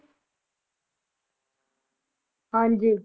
ਹਾਂਜੀ